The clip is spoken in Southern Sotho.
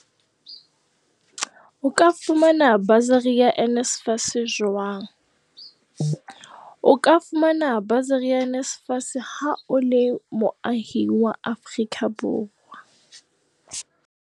O ka fumana basari ya NSFAS jwang O ka fumana basari ya NSFAS ha o le moahi wa Afrika